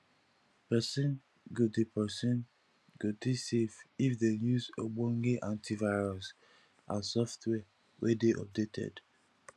perosn go dey perosn go dey safe if dem use ogbonge antivirus and software wey dey updated